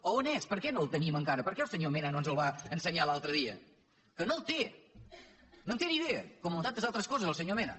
a on és per què no el tenim encara per què el senyor mena no ens el va ensenyar l’altre dia que no el té no en té ni idea com en tantes altres coses el senyor mena